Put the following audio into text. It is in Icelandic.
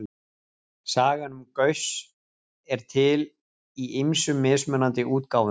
Sagan um Gauss er til í ýmsum mismunandi útgáfum.